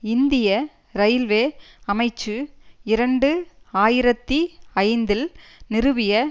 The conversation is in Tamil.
இந்திய இரயில்வே அமைச்சு இரண்டு ஆயிரத்தி ஐந்தில் நிறுவிய